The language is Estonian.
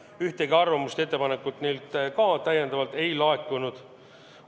Neilt ühtegi arvamust ega ettepanekut ei laekunud.